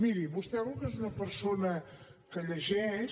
miri vostè com que és una persona que llegeix